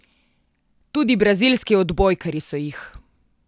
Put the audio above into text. Tudi brazilski odbojkarji so jih!